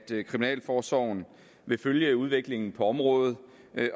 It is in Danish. kriminalforsorgen vil følge udviklingen på området